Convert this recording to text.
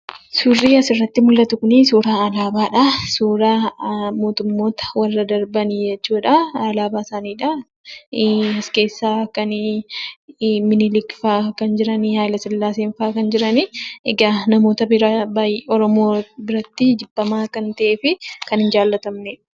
Suurrii asirratti mul'atu kunii suuraa alaabaadhaa. Suuraa mootummoota warra darbanii jechuudhaa. alaabaa isaaniidha. As keessaa kan minilikfaa kan jirani, Hayilasillaaseenfaa kan jiranii. Egaa namoota biraa baayyee oromoo biratti jibbamaa kan ta'eefi kan hin jaalatamnedha.